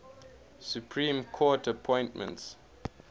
supreme court appointments